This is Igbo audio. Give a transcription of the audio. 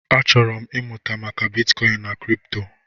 Achọrọ m ịmụta maka bitkọin na kripto.